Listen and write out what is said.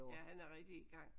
Ja han er rigtig i gang